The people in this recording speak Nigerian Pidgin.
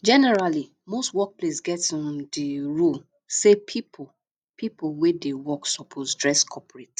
generally most workplace get um di um rule sey pipo pipo wey dey work suppose dress corprate